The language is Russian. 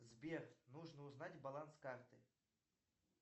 сбер нужно узнать баланс карты